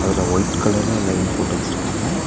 அதுல ஒய்ட் கலர்ல லைன் போட்டு வெச்சிருக்காங்க.